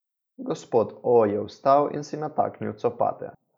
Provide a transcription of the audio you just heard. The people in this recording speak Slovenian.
Gospod O je vstal in si nataknil copate.